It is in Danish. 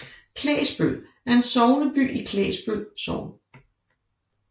Klægsbøl er sogneby i Klægsbøl Sogn